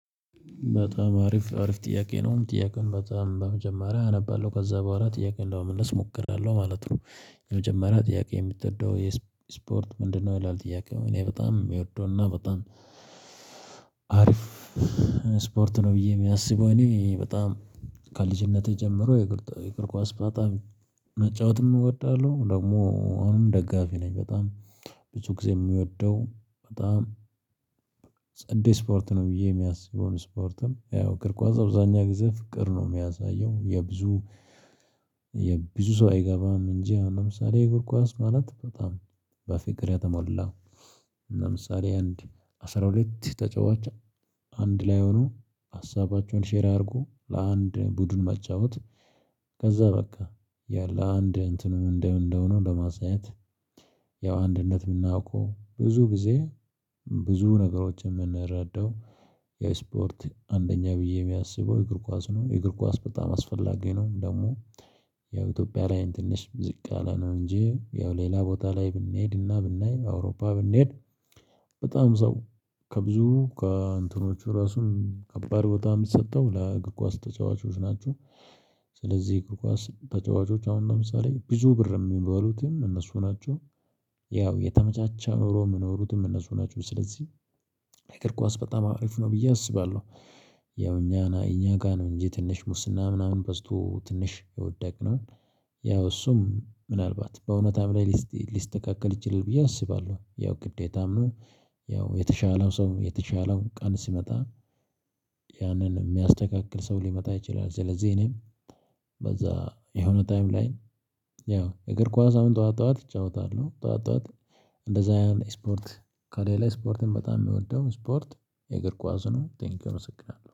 በጣም አሪፍ አሪፍ ጥያቄ ነው ጥያቄውን በጣም በመጀመሪያ አነባለሁ ከዛ በኋላ ጥያቄውን ለመመለስ እሞክራለሁ ማለት ነው። የመጀመሪያ ጥያቄ የምትወደው የስፖርት ምንድነው? ይላል ጥያቄው እኔ በጣም የምወደውና በጣም አሪፍ ስፖርት ነው። ብዬ የሚያስበው እኔ በጣም ከልጅነቴ ጀምሮ የእግር ኳስ በጣም መጫወትም እወዳለሁ ደግሞ አሁንም ደጋፊ ነኝ። በጣም ብዙ ጊዜ የምወደው በጣም ጸዴ ስፖርት ነው። ብዬ የማስበው ስፖርትም ያው እግር ኳስ አብዛኛ ጊዜ ፍቅር ነው የሚያሳየው የብዙ የብዙ ሰው አይገባም እንጂ አምሳሌ እግር ኳስ ማለት በጣም በፍቅር ያተሞላ። አምሳሌ አንድ አስራ ሁለት ተጫዋች አንድ ላይ ሆኖ ሀሳባቸውን ሼር አርጎ ለአንድ ቡድን መጫወት ከዛ በቃ ያለ አንድ እንትኑ እንደው እንደሆነ ለማሳየት። ያው አንድነት የምናውቀው ብዙ ጊዜ ብዙ ነገሮችን የምንረዳው የስፖርት አንደኛ ብዬ የሚያስበው እግር ኳስ ነው የእግር ኳስ በጣም አስፈላጊ ነው። ደግሞ የኢትዮጵያ ላይ ትንሽ ዝቅ አለ ነው እንጂ ያው ሌላ ቦታ ላይ ብንሄድና ብናይ አውሮፓ ብንሄድ በጣም ሰው ከብዙ ከእንትኖቹ ራሱን ከባድ ቦታ የምሰጠው ለእግር ኳስ ተጫዋቾች ናቸው። ስለዚህ ከኳስ ተጫዋቾች አሁን ለምሳሌ ብዙ ብር የሚበሉትም እነሱ ናቸው። ያው የተመቻቻ ኖሮ የምኖሩትም እነሱ ናቸው። ስለዚህ እግር ኳስ በጣም አሪፍ ነው ብዬ አስባለሁ። ያው እኛ እኛ ጋ ነው እንጂ ትንሽ ሙስና ምናምን በዝቶ ትንሽ የወደቅነው ያው እሱም ምናልባት በእውነታም ላይ ሊስተካከል ይችላል ብዬ አስባለሁ ያው ግዴታም ነው። ያው የተሻለው ሰው የተሻለው ቀን ሲመጣ ያንን የሚያተካክል ሰው ሊመጣ ይችላል። ስለዚህ እኔም በዛ የሆነ ታይም ላይ ያው እግር ኳስ አሁን ጠዋት ጠዋት እጫወታለሁ። ጠዋት ጠዋት እንደዛ ያን ስፖርት ከሌላ ስፖርትን በጣም የሚወደው ስፖርት የእግር ኳስ ነው። ቴንኪው አመስግናለሁ